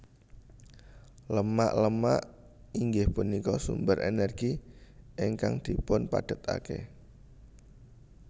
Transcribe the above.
Lemak Lemak inggih punika sumber energi ingkang dipunpadatake